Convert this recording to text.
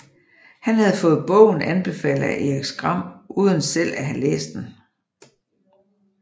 Han havde fået bogen anbefalet af Erik Skram uden selv at have læst den